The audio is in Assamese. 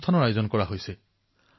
এই দিনটো সমগ্ৰ দেশৰ বাবে গুৰুত্বপূৰ্ণ